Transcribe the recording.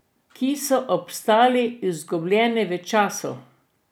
Ki so obstali izgubljeni v času.